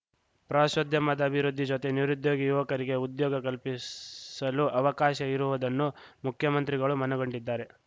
ಪ್ರವಾಸೋದ್ಯಮದ ಅಭಿವೃದ್ಧಿ ಜೊತೆ ನಿರುದ್ಯೋಗಿ ಯುವಕರಿಗೆ ಉದ್ಯೋಗ ಕಲ್ಪಿಸಲು ಅವಕಾಶ ಇರುವುದನ್ನು ಮುಖ್ಯಮಂತ್ರಿಗಳು ಮನಗಂಡಿದ್ದಾರೆ